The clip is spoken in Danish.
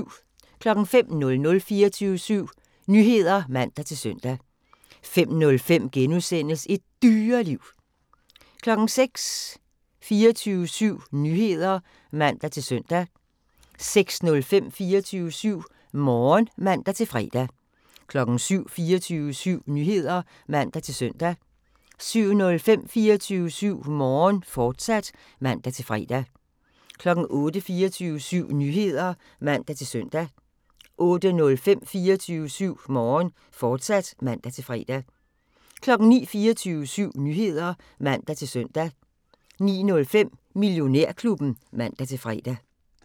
05:00: 24syv Nyheder (man-søn) 05:05: Et Dyreliv * 06:00: 24syv Nyheder (man-søn) 06:05: 24syv Morgen (man-fre) 07:00: 24syv Nyheder (man-søn) 07:05: 24syv Morgen, fortsat (man-fre) 08:00: 24syv Nyheder (man-søn) 08:05: 24syv Morgen, fortsat (man-fre) 09:00: 24syv Nyheder (man-søn) 09:05: Millionærklubben (man-fre)